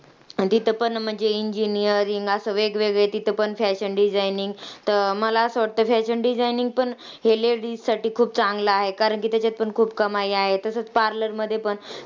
आणि तिथं पण engineering असं वेगवेगळं तिथं पण fashion designing तर मला असं वाटतं fashion designing पण हे ladies साठी खूप चांगलं आहे कारण की त्याच्यात पण खूप कमाई आहे. तसंच parlor मध्ये पण.